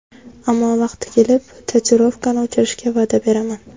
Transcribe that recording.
Ammo vaqti kelib tatuirovkani o‘chirishga va’da beraman.